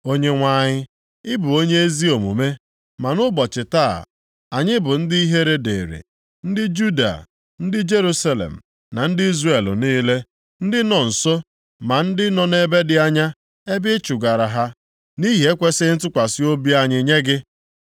“Onyenwe anyị, ị bụ onye ezi omume, ma nʼụbọchị taa anyị bụ ndị ihere dịrị, ndị Juda, ndị Jerusalem na ndị Izrel niile, ndị nọ nso ma ndị nọ nʼebe dị anya ebe ị chụgara ha nʼihi ekwesighị ntụkwasị obi anyị nye gị.